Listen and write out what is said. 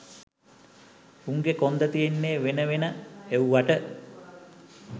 උන්ගෙ කොන්ද තියෙන්නේ වෙන වෙන එව්වට